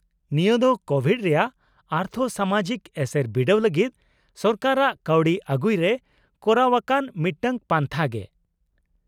-ᱱᱤᱭᱟᱹ ᱫᱚ ᱠᱳᱵᱷᱤᱰ ᱨᱮᱭᱟᱜ ᱟᱨᱛᱷᱚᱼᱥᱟᱢᱟᱡᱤᱠ ᱮᱥᱮᱨ ᱵᱤᱰᱟᱹᱣ ᱞᱟᱹᱜᱤᱫ ᱥᱚᱨᱠᱟᱨᱟᱜ ᱠᱟᱹᱣᱰᱤ ᱟᱹᱜᱩᱭ ᱨᱮ ᱠᱚᱨᱟᱣᱟᱠᱟᱱ ᱢᱤᱫᱴᱟᱝ ᱯᱟᱱᱛᱷᱟ ᱜᱮ ᱾